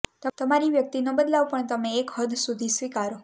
તમારી વ્યક્તિનો બદલાવ પણ તમે એક હદ સુધી સ્વીકારો